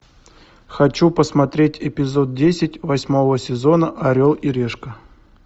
хочу посмотреть эпизод десять восьмого сезона орел и решка